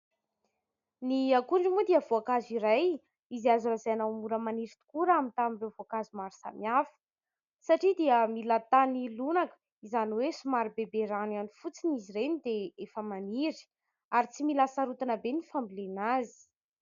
Ny akondro moa dia voankazo iray izay azo lazaina ho mora maniry tokoa raha mitaha amin'ny voankazo maro samihafa. satria dia mila tany lonako somary bebe rano ihany fotsiny izy ireny dia efa maniry ; ary tsy mila hasarotina be ny fambolena azy.